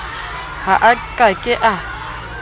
ha a ka ke a